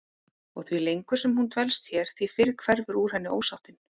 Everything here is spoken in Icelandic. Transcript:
Og því lengur sem hún dvelst hér því fyrr hverfur úr henni ósáttin.